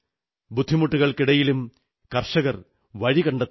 ബുദ്ധിമുട്ടുകൾക്കിടയിലും കർഷകർ വഴി കണ്ടെത്തുന്നുണ്ട്